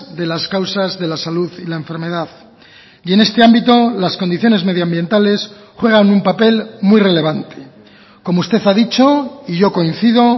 de las causas de la salud y la enfermedad y en este ámbito las condiciones medio ambientales juegan un papel muy relevante como usted ha dicho y yo coincido